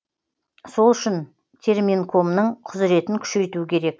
сол үшін терминкомның құзіретін күшейту керек